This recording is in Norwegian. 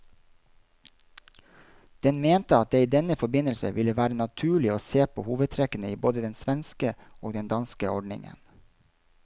Den mente at det i denne forbindelse ville være naturlig å se på hovedtrekkene i både den svenske og den danske ordningen.